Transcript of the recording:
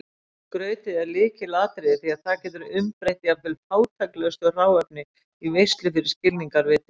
Skrautið er lykilatriði því það getur umbreytt jafnvel fátæklegasta hráefni í veislu fyrir skilningarvitin.